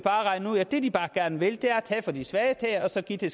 regne ud at det de bare gerne vil er at tage fra de svageste og så give dem